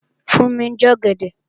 Fúnmi ń jẹ ọ̀gẹ̀dẹ̀